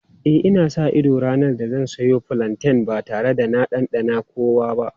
E, ina sa ido ranar da zan soya fulanten ba tare da na ɗanɗana kowa ba.